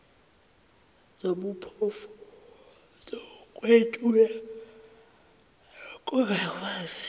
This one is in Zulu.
zobuphofu zokwentula nokungakwazi